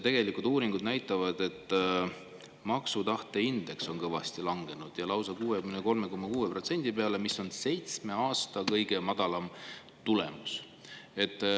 Tegelikult uuringud näitavad, et maksutahte indeks on kõvasti langenud, lausa 63,6 peale, mis on seitsme aasta kõige madalam tulemus.